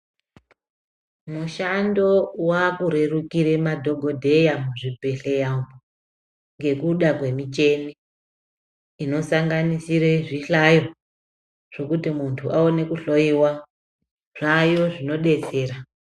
Mushando wakurerukira madhokodheya muzvibhedhleya umu ngekuda kwemichini inosanganisire zvihlayo zvekuti muntu aone kuhloyiwa, zvaayo zvinodetsera.